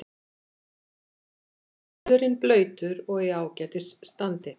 Völlurinn blautur og í ágætis standi.